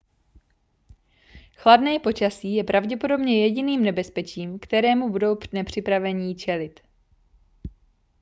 chladné počasí je pravděpodobně jediným nebezpečím kterému budou nepřipravení čelit